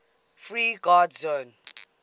free guard zone